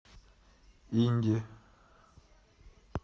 инди